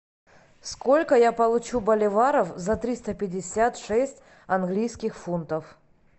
сколько я получу боливаров за триста пятьдесят шесть английских фунтов